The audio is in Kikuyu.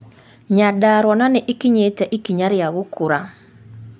Nyandarua na ni͂ ikinyi͂te ikinya ri͂a gu͂ku͂ra.